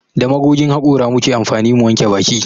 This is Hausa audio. Da magogin hakora muke amfani mu wanke baki